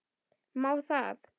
Má það?